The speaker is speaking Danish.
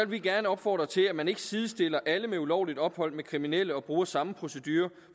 vi gerne opfordre til at man ikke sidestiller alle med ulovligt ophold med kriminelle og bruger samme procedure